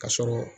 Ka sɔrɔ